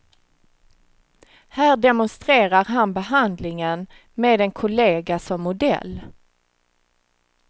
Här demonstrerar han behandlingen med en kollega som modell.